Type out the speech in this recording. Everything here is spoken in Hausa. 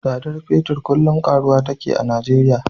Tsadar fetir kullum karuwa take a Nijeriya.